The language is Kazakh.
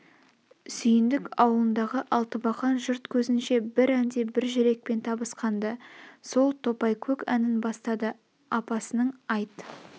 сүйндік аулындағы алтыбақан жұрт көзінше бір әнде бір жүрекпен табысқан-ды сол топайкөк әнін бастады апасының айт